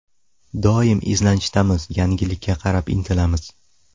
Doim izlanishdamiz, yangilikka qarab intilamiz.